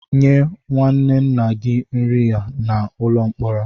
Nye nwanne nna gị nri a n'ụlọ mkpọrọ!